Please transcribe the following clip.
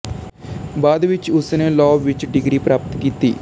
ਬਾਅਦ ਵਿੱਚ ਉਸ ਨੇ ਲਾਅ ਵਿੱਚ ਡਿਗਰੀ ਪ੍ਰਾਪਤ ਕੀਤੀ